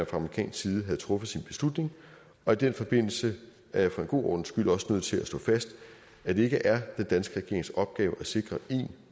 amerikansk side havde truffet sin beslutning og i den forbindelse er jeg for en god ordens skyld også nødt til at slå fast at det ikke er den danske regerings opgave at sikre en